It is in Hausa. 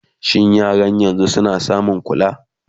shin yaran yanzun suna samun kula?